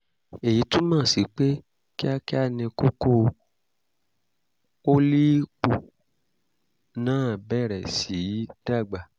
èyí túmọ̀ sí pé kíákíá ni kókó (pólíìpù) náà bẹ̀rẹ̀ sí í dàgbà